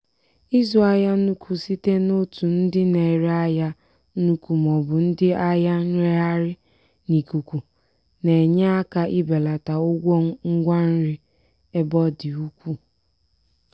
ịzụ ahịa n'ukwu site n'otu ndị na-ere ahịa n'ukwu ma ọ bụ ndị ahịa nreghaghị n'ikuku na-enye aka ebelata ụgwọ ngwa nri ebe ọ dị ukwuu.